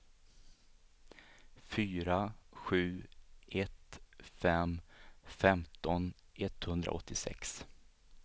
fyra sju ett fem femton etthundraåttiosex